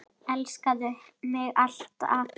Elskaðu mig alt af.